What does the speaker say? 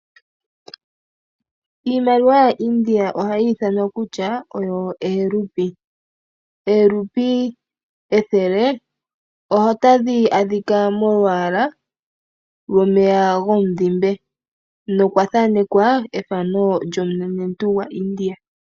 Iimaliwa ya India ohayi ithanwa kutya oyo eerupi . Eerupi ethele otadhi adhika molwaaala gomeya gomudhime nokwathanekwa lyomunenentu gwa India